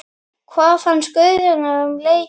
Hvað fannst Guðjóni um leikinn?